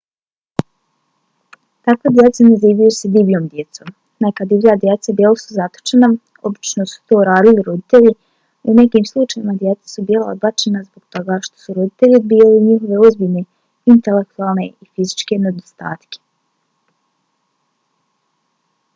takva djeca nazivaju se divljom djecom. neka divlja djeca bila su zatočena obično su to radili roditelji; u nekim slučajevima djeca su bila odbačena zbog toga što su roditelji odbijali njihove ozbiljne intelektualne ili fizičke nedostatke